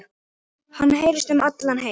Hann heyrist um allan heim.